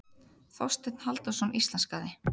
Þorsteinn Halldórsson íslenskaði.